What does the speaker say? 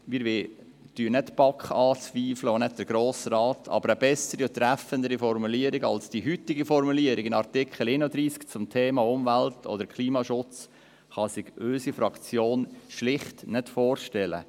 Wir zweifeln nicht die BaK oder den Grossen Rat an, aber eine bessere und treffendere Formulierung als diejenige im Artikel 31 der Kantonsverfassung zum Thema Umwelt- oder Klimaschutz kann sich unsere Fraktion schlicht nicht vorstellen.